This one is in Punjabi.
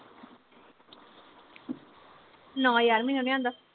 ਨਾ ਯਾਰ ਮੈਨੂੰ ਨੀ ਆਉਂਦਾ